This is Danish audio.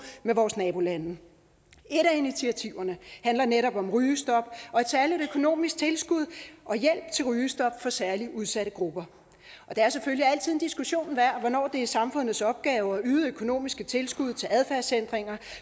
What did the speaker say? med vores nabolande et af initiativerne handler netop om rygestop og et særligt økonomisk tilskud og hjælp til rygestop for særlig udsatte grupper det er selvfølgelig altid en diskussion værd hvornår det er samfundets opgave at yde økonomiske tilskud til adfærdsændringer